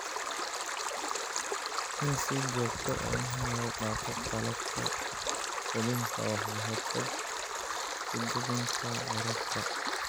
In si joogto ah loo dhaqo qalabka quudinta waxay ka hortagtaa fiditaanka cudurrada.